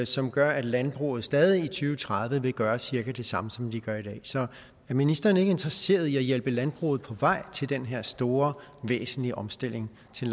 som gør at landbruget stadig i og tredive vil gøre cirka det samme som det gør i dag så er ministeren ikke interesseret i at hjælpe landbruget på vej til den her store væsentlige omstilling til